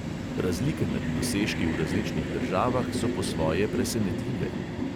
Razlike med dosežki v različnih državah so po svoje presenetljive.